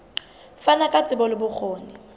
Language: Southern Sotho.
fana ka tsebo le bokgoni